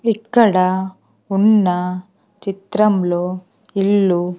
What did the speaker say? ఇక్కడ ఉన్న చిత్రంలో ఇల్లు.